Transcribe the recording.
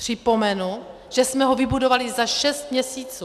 Připomenu, že jsme ho vybudovali za šest měsíců.